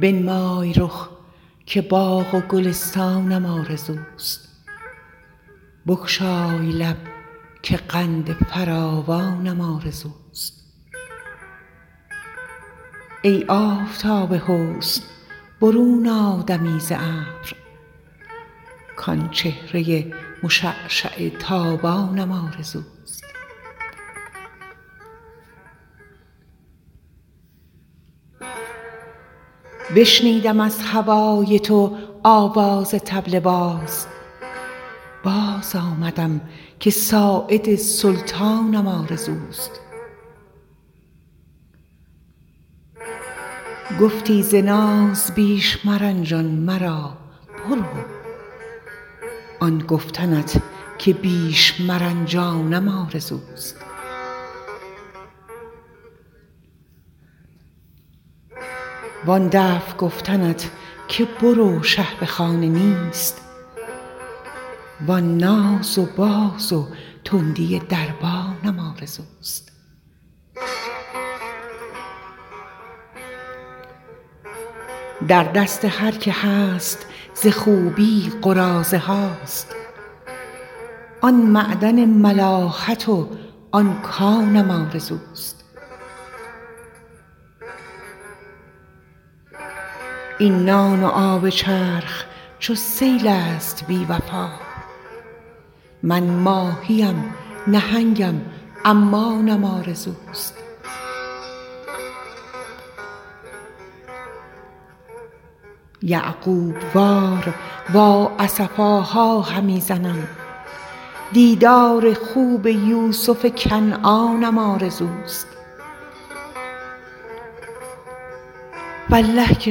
بنمای رخ که باغ و گلستانم آرزوست بگشای لب که قند فراوانم آرزوست ای آفتاب حسن برون آ دمی ز ابر کآن چهره مشعشع تابانم آرزوست بشنودم از هوای تو آواز طبل باز باز آمدم که ساعد سلطانم آرزوست گفتی ز ناز بیش مرنجان مرا برو آن گفتنت که بیش مرنجانم آرزوست وآن دفع گفتنت که برو شه به خانه نیست وآن ناز و باز و تندی دربانم آرزوست در دست هر که هست ز خوبی قراضه هاست آن معدن ملاحت و آن کانم آرزوست این نان و آب چرخ چو سیل است بی وفا من ماهی ام نهنگم و عمانم آرزوست یعقوب وار وا اسفاها همی زنم دیدار خوب یوسف کنعانم آرزوست والله که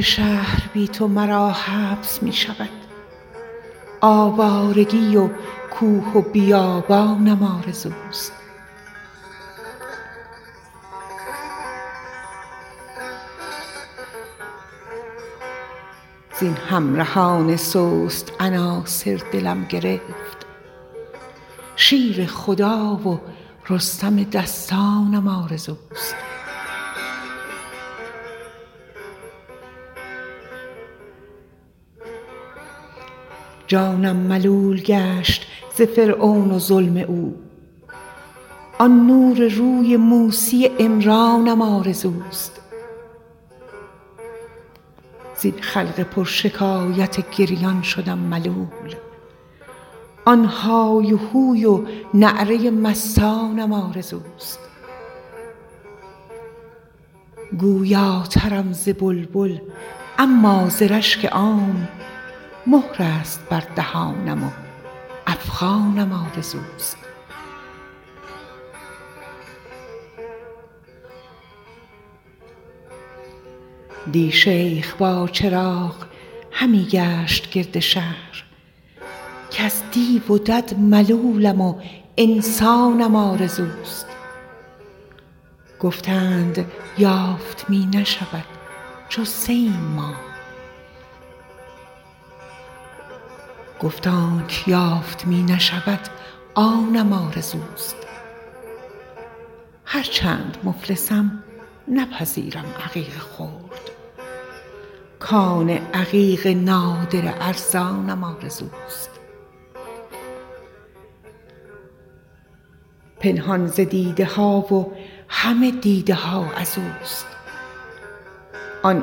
شهر بی تو مرا حبس می شود آوارگی و کوه و بیابانم آرزوست زین همرهان سست عناصر دلم گرفت شیر خدا و رستم دستانم آرزوست جانم ملول گشت ز فرعون و ظلم او آن نور روی موسی عمرانم آرزوست زین خلق پرشکایت گریان شدم ملول آن های هوی و نعره مستانم آرزوست گویاترم ز بلبل اما ز رشک عام مهر است بر دهانم و افغانم آرزوست دی شیخ با چراغ همی گشت گرد شهر کز دیو و دد ملولم و انسانم آرزوست گفتند یافت می نشود جسته ایم ما گفت آن چه یافت می نشود آنم آرزوست هرچند مفلسم نپذیرم عقیق خرد کان عقیق نادر ارزانم آرزوست پنهان ز دیده ها و همه دیده ها از اوست آن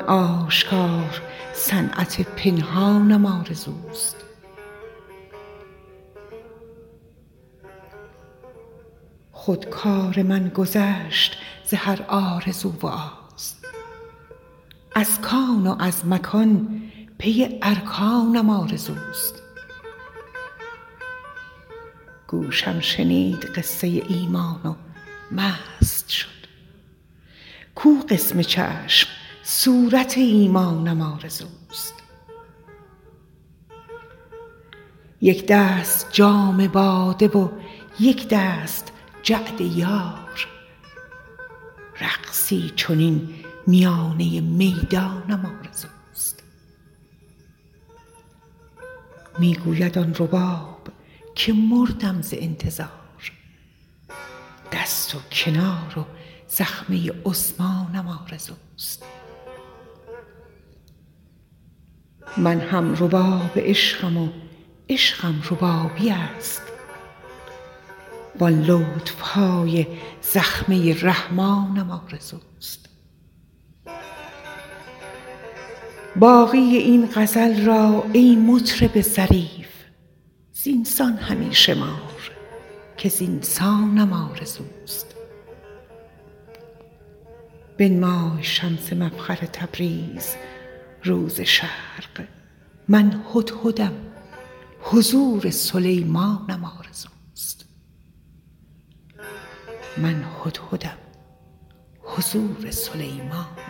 آشکار صنعت پنهانم آرزوست خود کار من گذشت ز هر آرزو و آز از کان و از مکان پی ارکانم آرزوست گوشم شنید قصه ایمان و مست شد کو قسم چشم صورت ایمانم آرزوست یک دست جام باده و یک دست جعد یار رقصی چنین میانه میدانم آرزوست می گوید آن رباب که مردم ز انتظار دست و کنار و زخمه عثمانم آرزوست من هم رباب عشقم و عشقم ربابی است وآن لطف های زخمه رحمانم آرزوست باقی این غزل را ای مطرب ظریف زین سان همی شمار که زین سانم آرزوست بنمای شمس مفخر تبریز رو ز شرق من هدهدم حضور سلیمانم آرزوست